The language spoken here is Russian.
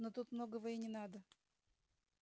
но тут многого и не надо